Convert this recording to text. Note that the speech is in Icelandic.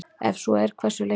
Ef svo er, hversu lengi?